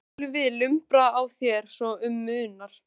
Þá skulum við lumbra á þér svo um munar